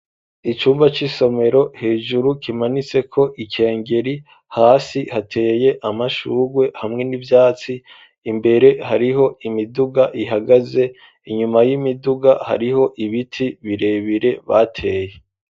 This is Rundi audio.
Icumba c'isomero hejuru kimanitse ko ikengeri hasi hateye amashurwe hamwe n'ivyatsi imbere hariho imiduga ihagaze inyuma y'imiduga hariho ibiti birebire bateye.